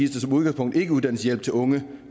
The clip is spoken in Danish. som udgangspunkt ikke uddannelseshjælp til unge